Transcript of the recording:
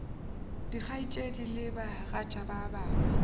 dikgaetšedi le bagatša ba gagwe